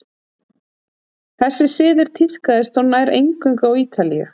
þessi siður tíðkaðist þó nær eingöngu á ítalíu